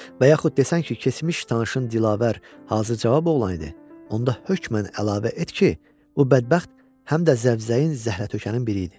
Və yaxud desən ki, keçmiş tanışın Dilavər hazır cavab oğlan idi, onda hökmən əlavə et ki, bu bədbəxt həm də zəvzəyin zəhrətökənin biri idi.